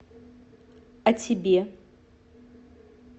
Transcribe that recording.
а тебе